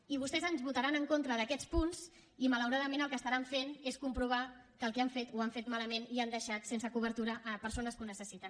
i vostès ens votaran en contra d’aquests punts i malauradament el que faran és comprovar que el que han fet ho han fet malament i que han deixat sense cobertura persones que ho necessiten